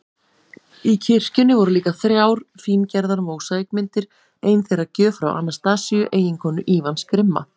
Í kirkjunni voru líka þrjár fíngerðar mósaíkmyndir, ein þeirra gjöf frá Anastasíu, eiginkonu Ívans grimma